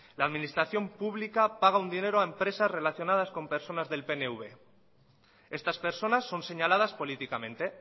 la administración pública paga un dinero a empresas relacionadas con personas del pnv estas personas son señaladas políticamente